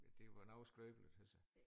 Det var noget skrøbeligt altså